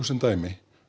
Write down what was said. sem dæmi